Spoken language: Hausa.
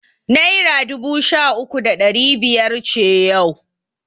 Naira dubu sha uku da ɗari biyar ce yau.